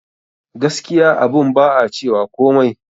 Gaskiya abun ba a cewa komai